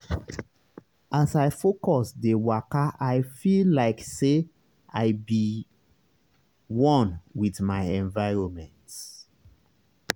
as i focus dey wakai feel like say i be one with my environment.